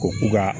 Ko ka